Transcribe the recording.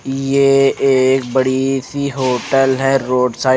ये एक बड़ी सी होटल है रोड साइड --